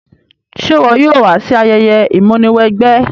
Se wo yóò wa si ayẹyẹ ìmúniwẹgbẹ́?